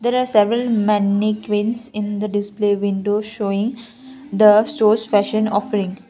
the several mannequins in the display windows showing the shows fashion of ring.